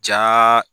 Ja